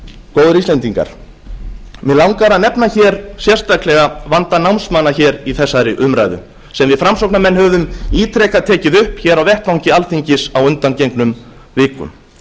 góðir íslendingar mig langar að nefna hér sérstaklega vanda námsmanna hér í þessari umræðu sem við framsóknarmenn höfum ítrekað tekið upp hér á vettvangi alþingis á undangengnum vikum